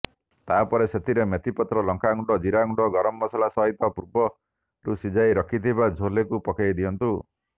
ତାପରେ ସେଥିରେ ମେଥିପତ୍ର ଲଙ୍କାଗୁଣ୍ଡ ଜିରାଗୁଣ୍ଡ ଗରମ ମସଲା ସହିତ ପୂର୍ବରୁ ସିଝାଇ ରଖିଥିବା ଛୋଲେକୁ ପକାଇ ଦିଅନ୍ତୁ